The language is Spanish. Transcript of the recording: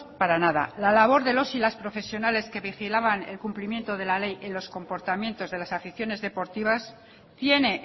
para nada la labor de las y los profesionales que vigilaban el cumplimiento de la ley en los comportamientos de las aficiones deportivas tiene